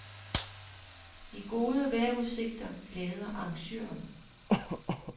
De gode vejrudsigter glæder arrangørerne.